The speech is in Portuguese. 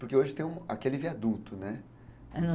Porque hoje tem aquele viaduto, né?